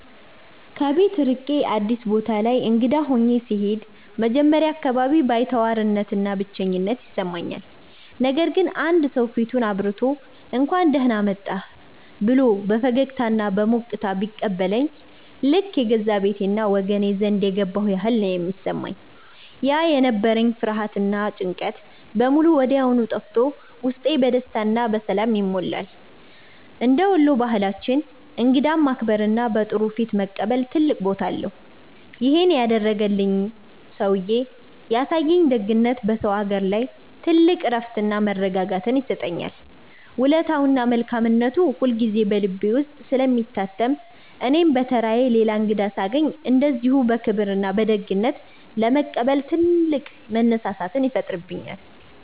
ከቤት ርቄ አዲስ ቦታ ላይ እንግዳ ሆኜ ስሄድ መጀመሪያ አካባቢ ባይተዋርነትና ብቸኝነት ይሰማኛል። ነገር ግን አንድ ሰው ፊቱን አብርቶ፣ «እንኳን ደህና መጣህ» ብሎ በፈገግታና በሞቅታ ሲቀበለኝ ልክ የገዛ ቤቴና ወገኔ ዘንድ የገባሁ ያህል ነው የሚሰማኝ። ያ የነበረኝ ፍርሃትና ጭንቀት በሙሉ ወዲያው ጠፍቶ ውስጤ በደስታና በሰላም ይሞላል። እንደ ወሎ ባህላችን እንግዳን ማክበርና በጥሩ ፊት መቀበል ትልቅ ቦታ አለው። ይሄን ያደረገልኝ ሰውዬ ያሳየኝ ደግነት በሰው አገር ላይ ትልቅ እረፍትና መረጋጋትን ይሰጠኛል። ውለታውና መልካምነቱ ሁልጊዜ በልቤ ውስጥ ስለሚታተም እኔም በተራዬ ሌላ እንግዳ ሳገኝ እንደዚሁ በክብርና በደግነት ለመቀበል ትልቅ መነሳሳትን ይፈጥርብኛል።